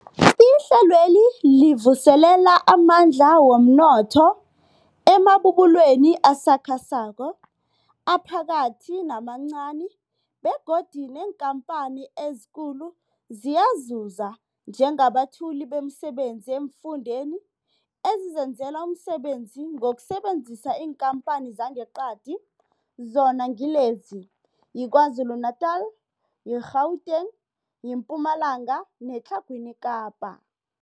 Ihlelweli livuselela amandla womnotho emabubulweni asakhasako, aphakathi namancani begodu neenkhamphani ezikulu ziyazuza njengabethuli bemisebenzi eemfundeni ezizenzela umsebenzi ngokusebenzisa iinkhamphani zangeqadi, zona ngilezi, yiKwaZulu-Natala, i-Gauteng, iMpumalanga neTlhagwini Kapa.